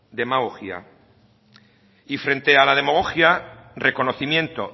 demagogia y frente a la demagogia reconocimiento